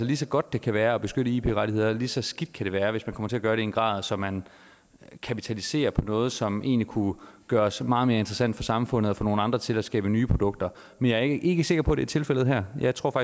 lige så godt det kan være at beskytte ip rettigheder lige så skidt kan det være hvis man kommer til at gøre det i en grad så man kapitaliserer noget som egentlig kunne gøres meget mere interessant for samfundet og få nogle andre til at skabe nye produkter men jeg er ikke sikker på at det er tilfældet her jeg tror